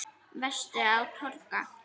Varstu á togara?